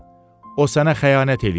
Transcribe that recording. O sənə xəyanət eləyəcək.